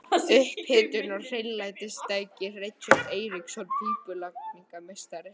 Upphitun og hreinlætistæki: Richard Eiríksson, pípulagningameistari.